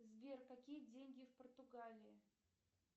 сбер какие деньги в португалии